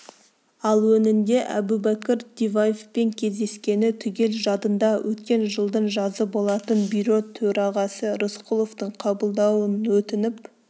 ал өңінде әбубәкір диваевпен кездескені түгел жадында өткен жылдың жазы болатын бюро төрағасы рысқұловтың қабылдауын өтініп